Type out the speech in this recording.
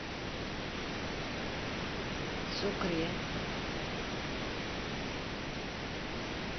сукре